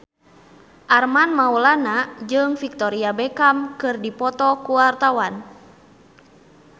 Armand Maulana jeung Victoria Beckham keur dipoto ku wartawan